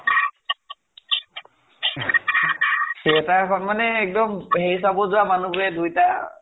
theater খন মানে এক্দম হেৰি চাব যোৱা মানুহবোৰে দুয়োটা